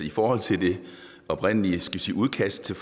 i forhold til det oprindelige udkast til